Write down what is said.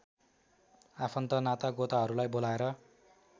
आफन्त नातागोताहरूलाई बोलाएर